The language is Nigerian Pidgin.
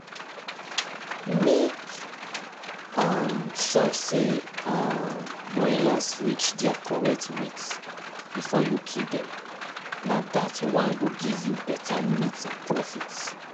mixed farming na common type of farming wey combine animal livestocks and crop production for the same the same farm land